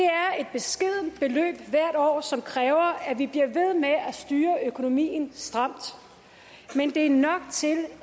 beskedent beløb hvert år som kræver at vi bliver ved med at styre økonomien stramt men det er nok til